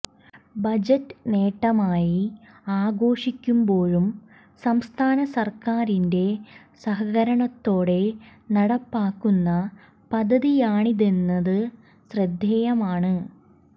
budget നേട്ടമായി ആഘോഷിക്കുമ്പോഴും സംസ്ഥാന സര്ക്കാറിന്റെ സഹകരണത്തോടെ നടപ്പാക്കുന്ന പദ്ധതിയാണിതെന്നത് ശ്രദ്ധേയമാണ്